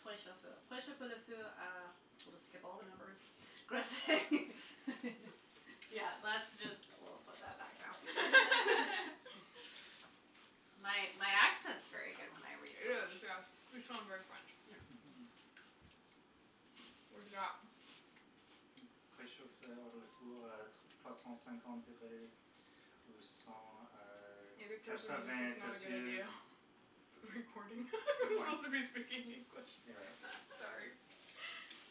We'll just skip all the numbers. Yeah, that's just, woah, put that back now. My my accent's very good when I read It is, French. yes, you sound very French. Yeah. Mhm. What have you got? It occurs to me this is not a good idea. For the recording. We're supposed to be speaking English. You're right. S- sorry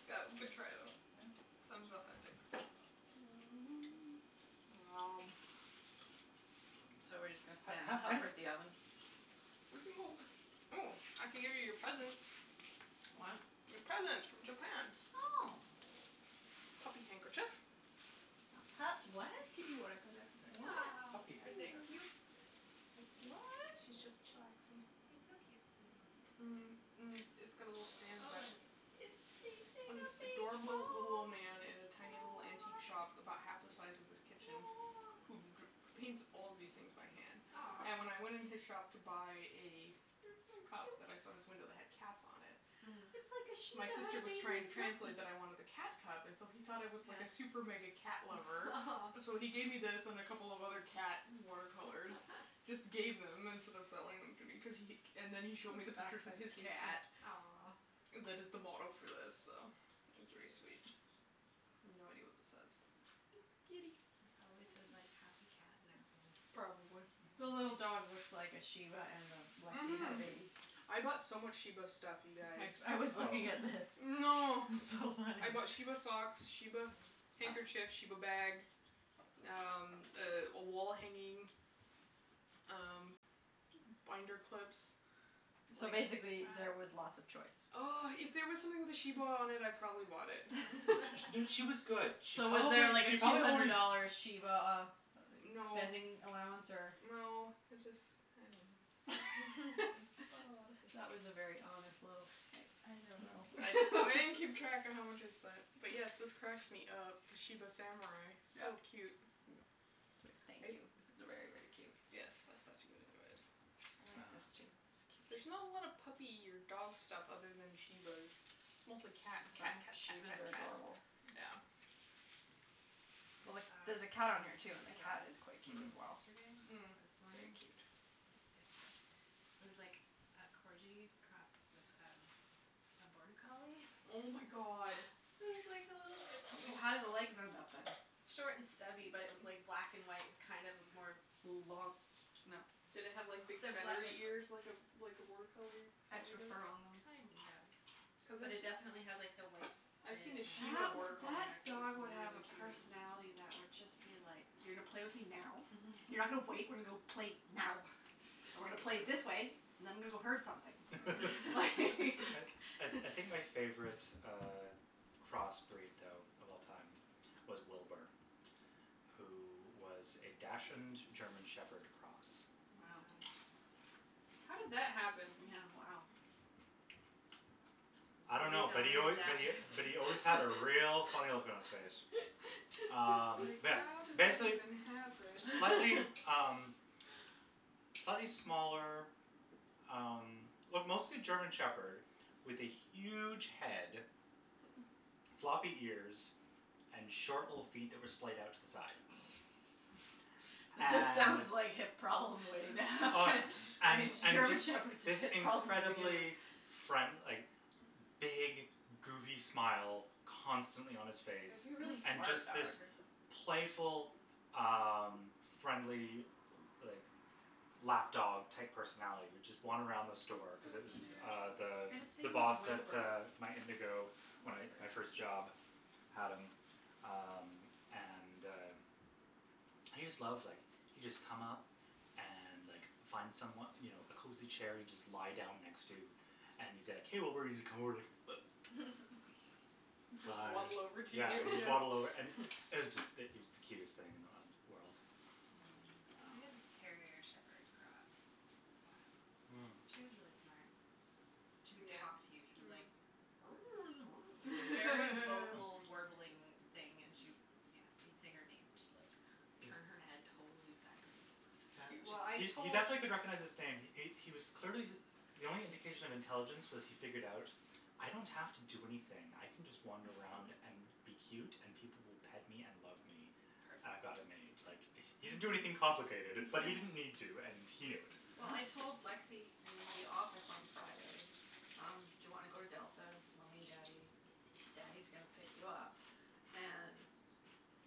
That was a good try, though. Yeah. Sounded authentic. Wow. So, we're just gonna and hover at the oven? We can go. Oh, I can give you your presents. What? Your presents from Japan. Oh. Puppy handkerchief. A pup what? A kitty one I It's a What? Aw, puppy cute. handkerchief. cute? What? She's just chillaxing. He's so cute sitting like Mhm. that. Mm. It's got a little Oh, stand in the back. it is. It's chasing a This big ball, adorable little old oh. man in a tiny little antique shop about half the size of this kitchen who dr- paints all these things by hand. And when Aw. I went in his shop to buy a You're so cup that I saw in his cute. window that had cats on it. Mhm. It's like a My shiba had sister a was baby trying to with Lexie. translate that I wanted the cat cup and so he thought I was like a super mega Yeah. cat lover. So he gave me this and a couple of other cat water colors, just gave them instead of selling them to be cuz he. And then he showed me the This back pictures of side's his cute, too. cat. Aw. That is the model for this, so it was very sweet. I have no idea what this says, but It's it's a kitty kitty. It probably says, like, happy cat napping. Or Probably. The something. little dog Mhm. looks like a shiba and a Lexie had a Mhm. baby. I bought so much shiba stuff, you guys. I I was Oh. looking at this. Oh no. It's so funny. I bought shiba socks, shiba handkerchiefs, shiba bag, um, a wall hanging, um, binder clips. So basically there was Wow. lots of choice. Oh, if there was something with a shiba on it, I probably bought it. She was good. She So, was probably, there, like, a she two probably hundred only dollar shiba uh No, spending allowance or? no, it just, I don't know. It's got a lotta pics. That was a very honest little, I I don't I I know. didn't keep track of how much I spent. But, yes, this cracks me up, the shiba samurai, Yeah. No. so cute. Thank you. This is very, very cute. Yes, I thought you would enjoy it. I Uh. like this, too. This is There's not cute. a lot of puppy or dog stuff other than shibas. It's mostly cats. Cat, cat, cat, cat, shibas are cat. adorable. Yeah. Like, I there's a cat on here, saw too, and the cat a is quite cute Mhm. as dog well. yesterday. Or Mm. this Very morning. cute. Maybe it was yesterday. It was like a corgi crossed with a border collie. Oh, my god. It was like a little How did the legs end up, then? Short and stubby, but it was like black and white kind of a more Long, no. Did it have, like, big feathery ears like a like a border collie collie Extra does? fur on them. Kind of, Cuz but I've it definitely had s- like the white I've seen in a it and shiba That border wou- collie that mix and it's dog would have really a cute. personality that would just be like, "You're gonna play with me now, you're not gonna wait, we're gonna play now and we're gonna play That's this way true. and I'm gonna go herd something, like" I I I think my favorite uh crossbreed though of all time was Wilbur, who was a dachshund German shepherd cross. Oh my Wow. gosh. How did that happen? Yeah, wow. I don't A know, but real he al- dine but he and but dash. he always had a real funny look on his face. Um, Like, yeah, how did that basic- even , happen? slightly, um, slightly smaller um well mostly German Shepherd with a huge head, floppy ears and short little feet that were splayed out to the side. It just And sounds like hip problems way Oh, down. and and German this Shepherds have this hip problems at the beginning. incredible friend- like, big goofy smile constantly on his It face. would be a really And smart just dog. this playful um friendly, like, lap dog type personality that would just wander around the That's so store cuz it was cute. uh Mm. the And its the name was boss at Wilbur. my Indigo. At Whatever. my first job had him um and uh he just loved like he'd just come up and like find someone, you know, a cozy chair he'd just lie down next to and he's like, hey Wilbur, and he's just come over and like He'd just waddle over to you, Yeah, just waddle over. yeah. It was just it was the cutest thing in the world. We had a Um. Mm. terrier shepherd cross for a while. Mm. She was really smart. She would Yeah. talk to you. She'd be Mhm. like Like, very vocal warbling thing and she'd, yeah. You'd say her name and she'd like turn her head totally sideways. He- well, I He he tot- definitely Cute. could recognize his name. He he was clearly the only indication of intelligence was he figured out, "I don't have to do anything." I can just wander around and be cute and people will pet me and love me. Perfect. I've got it made. Like, Perfect. he didn't do anything complicated, but he didn't need to, and he knew it. Well, I told Lexie in the office on Friday, um, do you want to go to Delta, mommy and daddy? Daddy's gonna pick you up. And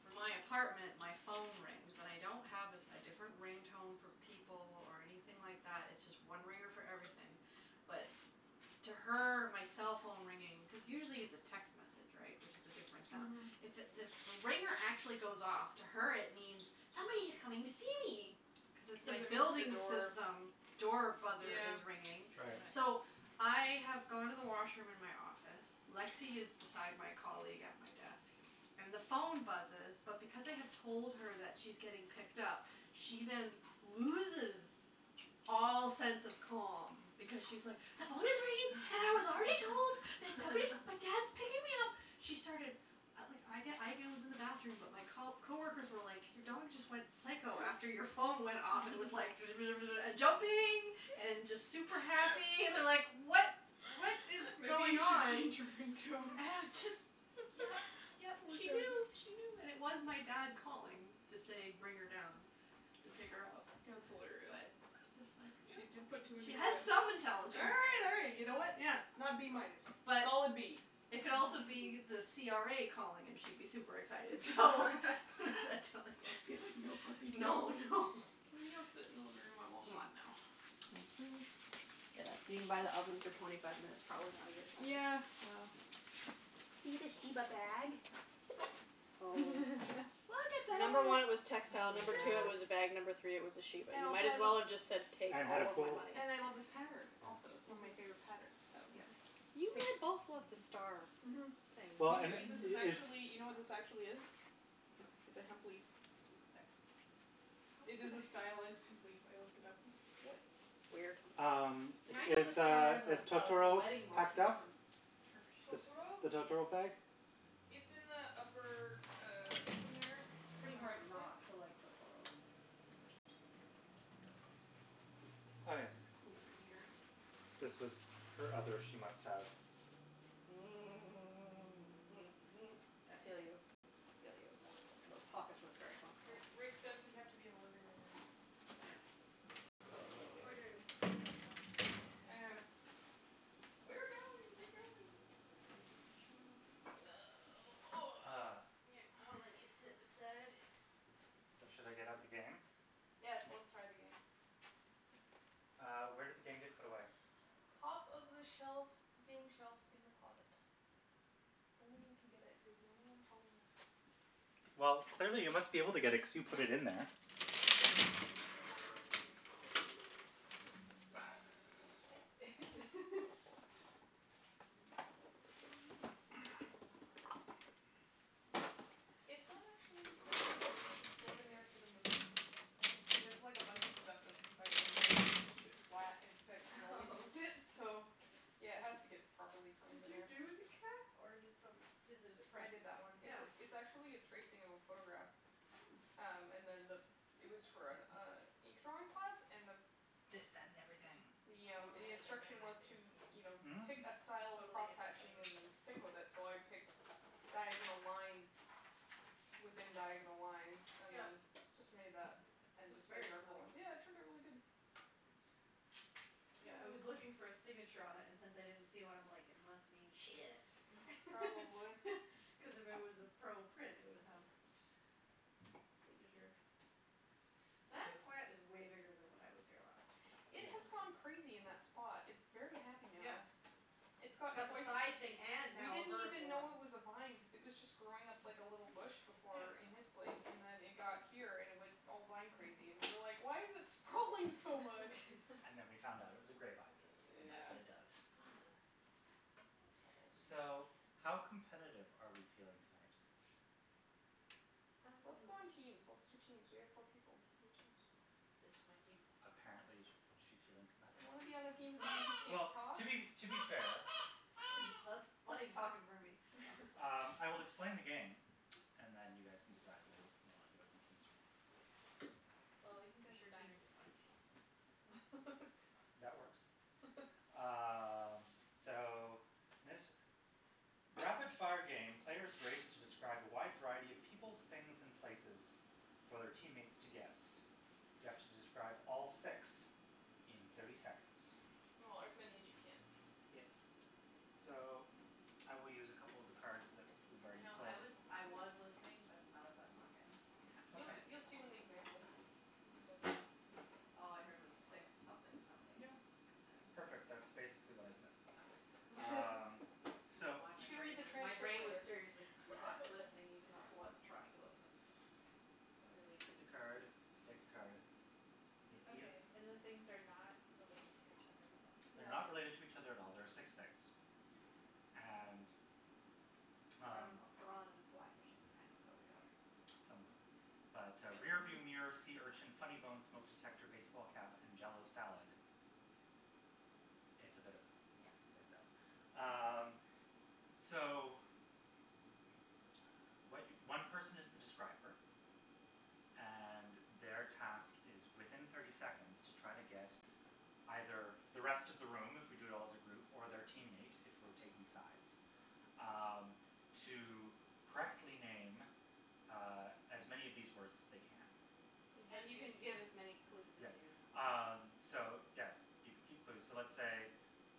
from my apartment, my phone rings. And I don't have a a different ring tone for people or anything like that, it's just one ringer for everything, but to her my cell phone ringing. Cuz usually it's a text message, right, which is a different sound. Mhm. It's if the ringer actually goes off, to her it means, "Somebody's coming to see me", cuz it's my Cuz it means the building door. system door buzzer Yeah. is ringing. Right. So, Right. I have gone to the washroom in my office, Lexie is beside my colleague at my desk and the phone buzzes, but because I have told her that she's getting picked up, she then loses all sense of calm because she's, like, "The phone is ringing and I was already told that somebody, that dad's picking me up. She started. At like, I, again, was in the bathroom, but my co- coworkers were like your dog just went psycho after your phone went off and was like and jumping and just super happy and they're like what, what is Maybe going you should on? change your And it ringtone. was just, yeah, yeah, Poor she doggy. knew, she knew. And it was my dad calling to say bring her down to pick her up, That's hilarious. but it's just like, yeah, She just put two and two she has together. some intelligence. Hey, you know, you know what, Yeah. not B minus. But Solid B. it could also be the CRA calling and she'd be super excited, so what does that tell you? Cuz like no puppy No, no. Can we go sit in the living room? I'm all hot now. Yeah, being by the oven for twenty five minutes, probably not a good plan. Yeah, well. See the shiba bag? Oh. Look at Number one, it was that. textile; Oh, number two it my was a god. bag; Look. number three it was a sheep. And And it also might I as love well have just said take And had a all of my pull money. And I love this pattern also, it's Yeah. one of my Mhm. favorite patterns, so yes. Mhm. You had both loved the Take. star Mhm. things. Well, You and, kn- this is it's. actually, you know what this actually is? It's No. a hemp leaf. No. Oops, sorry. How It is it is a a h- stylus hemp leaf. I looked it up. We- weird. Um, See, I know the is, star uh, as a is as a Totoro wedding packed motif up? from Turkish. The Totoro? the Totoro bag? It's in the upper, uh, open there It's and on pretty the right hard side. not to like Totoro. It's so cute. I'm gonna take my Oh, sweater; yes. it's cool in here. This was her other she must have. Mm. Mhm. mhm, mhm. I feel you, I feel you. Those pockets look very Ri- functional. Rick says we have to be in the living room now, so. Okay. Orders from on high. I know. We're going, we're going. Ah. I'll let you sit beside. So, should I get out the game? Yes, let's try the game. Uh, where did the game get put away? Top of the shelf, game shelf in the closet. Only you can get it. You're the only one tall enough. Well, clearly you must be able to get it cuz you put it in there. Touche. Your picture is falling out of its frame. It's not actually framed in there. It was just stored in there for the move. Oh. There's like a bunch of stuff that's inside of that frame just to keep it flat and protected while we Oh moved in, so yeah, it has to get properly framed Did in you there. do the cat or did some- does it a I print? did that one. It's Yeah. it's actually a tracing of a photograph. Hmm. Um, and then the it was for an uh ink drawing class and the This, that and everything. Yeah, Totally the different than instruction was to, game. you know, Hmm? pick a style of Totally different than crosshatching and then stick with it, so I picked diagonal lines within diagonal lines and Yeah. then just made that and It's just made very darker cool. ones. Yeah, it turned out really good. Mm. Yeah, I was looking for a signature on it and since I didn't see one, I'm like, it must mean she did it Probably. cuz if it was a pro print, it would have a signature. So. That plant is way bigger than when I was here last. It Yes. has gone crazy in that spot. It's very happy Yeah. now. It's gotten Got the quite side thing and We now a didn't even vertical one. know it was a vine cuz it was just growing up like a little bush before in Yeah. his place and then it got here and it went all vine crazy and we were like, why is it sprawling so much? And then we found out it was a grape ivy and that's Yeah. what it does. Ah. Oh. So, how competitive are we feeling tonight? Um. Let's go in teams, let's do teams. We have four people; we can do teams. This is my team. A- apparently she's feeling You competitive. wanna be on the team with somebody who can't Well, talk? to be, to be fair That's talking for me. No, that's Um, fine. I will explain the game and then you guys can decide whether we want to do it in teams or not. Well, we can I'm go sure teams designers is fine. against counselors, so That works. Um, so this rapid-fire game, players race to describe a wide variety of peoples, things and places for their teammates to guess. You have to describe all six in thirty seconds. Or as many as you can. Yes. So, I will use a couple of the cards that we've You already know, I played. was I was listening, but none of that sunk in, I have to You Okay. admit. you'll see when the example when he does that. All I heard was six something somethings Yeah, and. perfect, that's basically what I said. Okay. Um, I don't know so. why You my can read brain the was, my transcript brain was later. seriously not listening, even though I was trying to listen. So, Clearly take a need card, sleep. take a card. You see them? Okay, and the things are not related to each other at all? They're No. not related to each other at all; there are six things. Mhm. And, I don't um know, piranha and and fly fishing kind of go together. Somewhat. But, uh, rearview So. mirror, sea urchin, funny bone, smoke detector, baseball cap and jell-o salad, it's a bit of yeah Yeah. words up. Um, so what one person is the describer, and their task is within thirty seconds to try to get either the rest of the room if we do it all as a group or their teammate if we're taking sides Um, to correctly name uh as many of these words as they can. And you have And to you use can give as many clue Yes. as you Um, so yes, you can keep clues. So let's say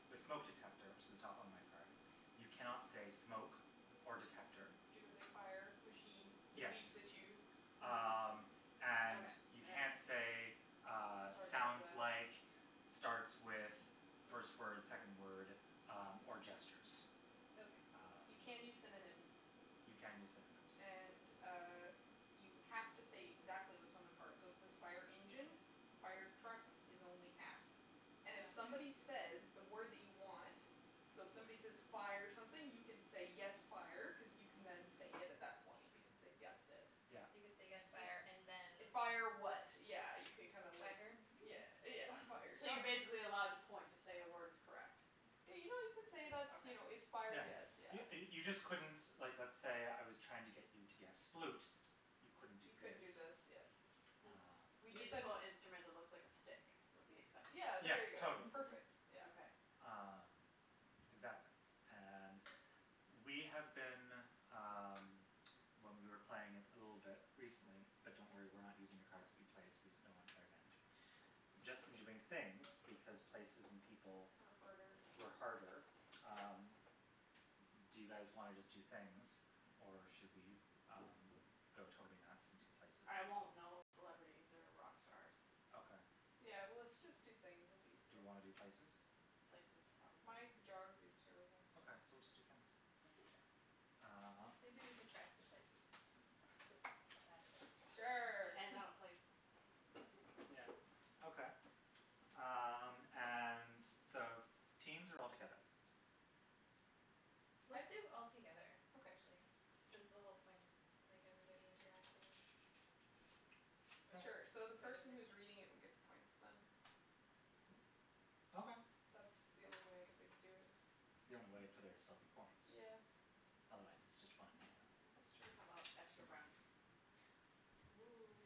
with smoke detector, which is at the top on my card, you cannot say smoke or detector. But you could say fire, machine that Yes. beeps at you. Mm. Um, and Okay, you yeah can't say, yeah. uh, Starts with sounds like, this. starts with, first word, Hmm. second word, um, or gestures. Okay. Um. You can use synonyms. You can use synonyms. And, uh, you have to say exactly what's on the card, so if it says fire engine, fire truck is only half. Oh, And if okay. somebody says that word that you want, so if somebody says fire something, you can say yes, fire, cuz you can then say it at that point, because they've guessed it. Yeah. You can say yes You fire and then Fire, fire vehicle. what, yeah, you can kind of like yeah, yeah, fire. So you're basically Yeah. allowed to point to say a word is correct? Yeah, you know, you can say Just that's, okay. you know, it's fire, Yeah. yes, yeah. You you just couldn't, like let's say I was trying to get you to guess flute; you couldn't do You couldn't this. do this, yes. Hmm. We Um. decided Musical that instrument that looks like a stick would be acceptable? Yeah, Yeah, there you go. totally. Perfect, yeah. Okay. Um, exactly, and we have been, um, when we were playing it a little bit recently, but don't worry, we're not using the cards that we played, so there's no unfair advantage, just been doing things because places and people Are harder. were harder. Um, do you guys wanna just do things or should we um go totally nuts and do places I and won't people? know celebrities or rock stars. Okay. Yeah, well let's just do things, it'll be Do easier. we wanna do places? Places, probably. My geography is terrible, so. Okay, so we'll just do things. We can try some- Um. maybe we can try some places just to see how bad it is. Sure. And not a place. Mm. Yeah, okay. Um, and so teams or all together? Let's I do all together, Okay. actually, since the whole point is like everybody interacting Sure. Sure, so together the for the person who is recording reading it thing. would get the points, then. Okay. That's the only way I can think to do it. It's the only way for there to still be point. Yeah. Otherwise it's just fun and mayhem. That's true. How about extra brownies? Oh.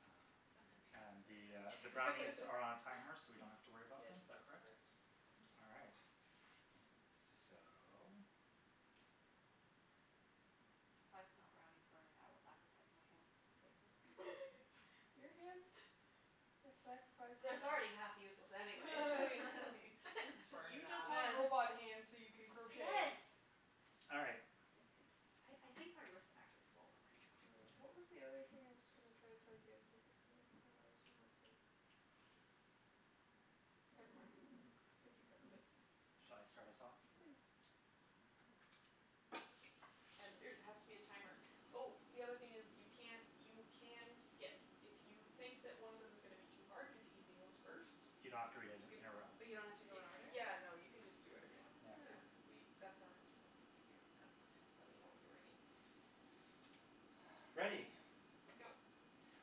Um, Fun and the, uh, the and brownies are on a timer so we don't have to worry about Yes, them, is that that's correct? correct. All right. So. If I smell brownies burning, I will sacrifice my hands to save them. Your hands have sacrificed It's it's enough. already half useless anyways Just burn You it just off. want robot hands so you can Yes. crochet. All right. Like this, I I think my wrist actually swollen right now. Mm, I what don't was the other thing know. I was going to try to tell you guys about this game? Uh, there was one more thing. Never mind. I think you Okay. covered it. Shall I start us off? Please. And there's it has to be a timer. Oh, the other thing is, you can't you can skip. If you think that one of them is gonna be too hard, do the easy ones first. You don't have to read it You can in a row. But you don't have to go in order? Yeah, no, you can just do whatever you want. Yeah. Yeah, Oh. we that's our house rule, it's easier. Okay. Let me know when you're ready. Ready. Go.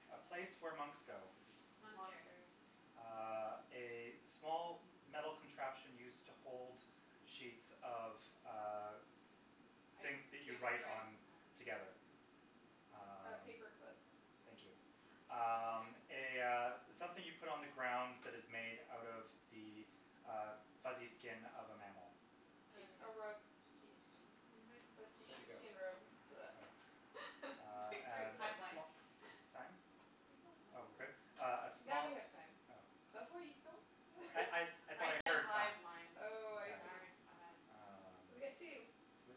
A place where monks go. Monastery. Monastery. Uh, a small metal contraption used to hold sheets of, uh, things Ice that you cube write tray? on Oh. together. Oh. A Um. paper clip. Thank you. Um, a, uh, something you put on the ground that is made out of the uh fuzzy skin of a mammal. Uh, A rug. sheep Sheepskin. sheepskin rug? A see There Sheepskin. you go. sheepskin rub. Okay. Uh, Between three of and us a we Hive go it. mind. sm- time? Keep going. Oh, No. we're good? Uh a Now we small have time. Oh. That's why you don't I I I thought I I said heard hive time. mind. Oh, I see. Sorry, my bad. Ah. Um, We got two.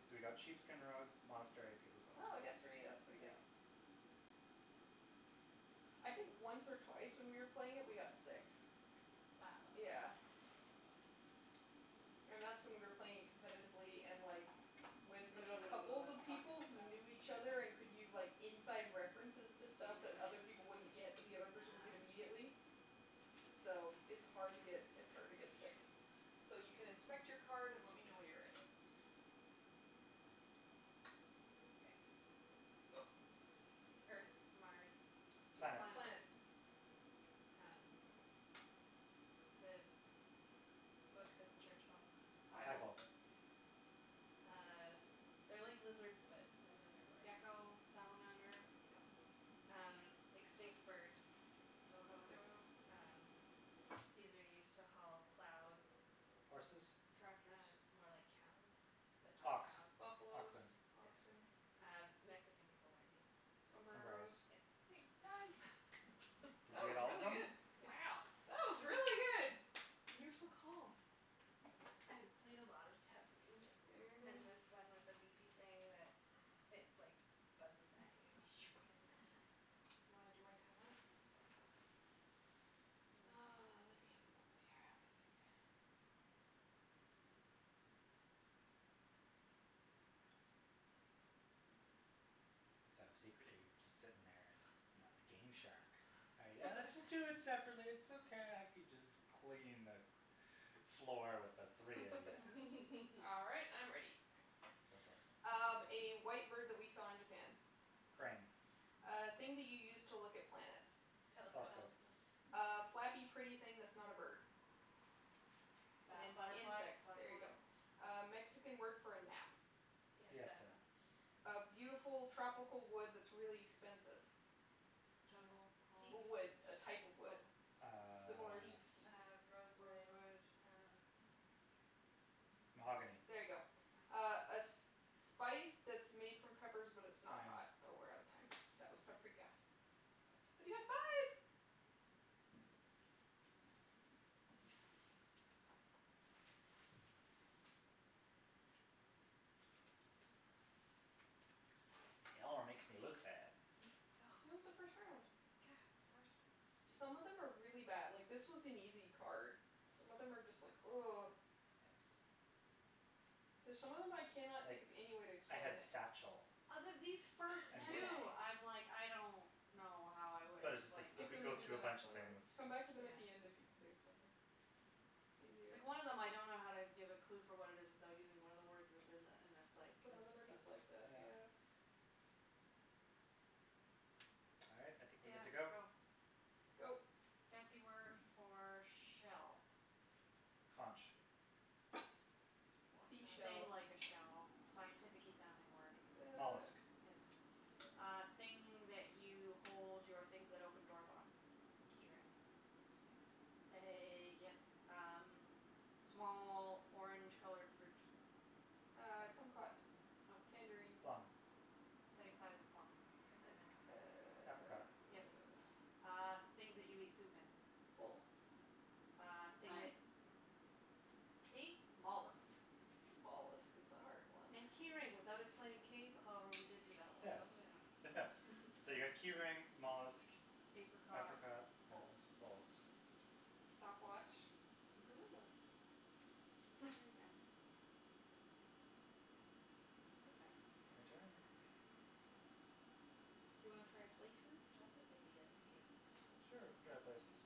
we got sheepskin rug, monastery and paperclip. Oh, we got three, that's pretty good. Mm. Yeah. I think once or twice when we were playing it we got six. Wow. Yeah. Wow. And that's when we were playing it competitively and, like, with couples of Talking people like who that. knew each other and could use, like, inside references to stuff that other Mm. people wouldn't get but the other person would get Ah. immediately, so it's hard to get, it's hard to get six. So you can inspect your card and let me know when you're ready. Okay. Go. Earth, Mars, Venus. Planets. Planets. Planets. Um, the book that the church follows. Bible. Bible. Bible. Uh, they're like lizards but another word. Gecko, salamander. There you go. Um, extinct bird. Dodo. Dodo. Um, these are used to haul plows. Horses? Tractors. Uh more like cows but not Ox, cows. Buffalos, oxen. Yeah. oxen. Uh, Mexican people wear these. Sombreros. Sombreros. Yeah. Time. Did That you get was all of really them? good. It's. Wow. That was really good. And you were so calm. I've played a lot of Taboo Mhm. and this one with a beepy thing that it, like buzzes at you if you don't get it in time. Do you wanna do my timer? Mm. Mm. Oh, let me have a moment here. Let me think. So, secretly you were just sitting there, you know, the game shark. Yeah, let's just do it separately, it's okay, I can just clean the cl- floor with the three of you. All right, I'm ready. Go for it. Um, a white bird that we saw in Japan. Crane. A thing that you use to look at plants. Telescope. Telescope. Telescope. A flappy, pretty thing that's not a bird. It's Bat- ins- butterfly, insects, there you butterfly. go. A Mexican word for a nap. Siesta. Siesta. A beautiful tropical wood that's really expensive. Uh, Jungle, teak? palm? A wood, a type of Oh. wood. Uh. Similar Teak, to teak. uh, rosewood, Rosewood. uh. Mm. Mahogany. There you go. Ah. Oh. A a sp- spice that's made from peppers but it's not Time. hot. Oh, we're out of time. That was paprika. But you got five! Nice. Y'all are making me look bad. Oh. It was the first round. God, first one's stupid. Some of them are really bad. Like, this was an easy card. Some of them are just like Yes. There's some of them I cannot think Like, of any way to I explain had it. satchel. Out of these first And wh- Man two, bag. I'm like, I don't know how I would But it's just like explain you them. Skip could them go and do through a then next bunch of one, then. things. Come back to them at Yeah. the end if you can think of something. It's easier. Yeah. Like, one of them I don't know how to give a clue for what it is without using one of the words that's in the, and it's like. Some of That's, them are yeah, just like that, yeah. yeah. All right, I think we're good Yeah, to go. go. Go. Fancy word for shell. Conch. Or I thing Seashell. like a don't shell, the scientificky sounding word. Uh. Mollusk. Yes. Uh, thing that you hold your things that open doors on. Key ring. A, yes, um, small orange colored fruit. Uh, kumquat. No. Tangerine. Plum. Same size as a plum. Persimmon. Uh, Apricot. Yes. uh. Uh, things that you eat soup in. Bowls. Bowls. Uh, thing Time. that mm See? Mollusks. Mollusk is a hard one. And key ring without explaining cave- however, we did do that one I Yes. don't know. So you got key ring, mollusk, Apricot, apricot and bowls. bowls. Stopwatch, gorilla. Very random. Your turn. My turn? Do you wanna try places? I like this idea as a game. It's Sure, we cute. can try places.